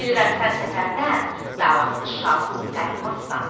bilirəm sən səfərdən davasız, şavasız qayıtmazsan.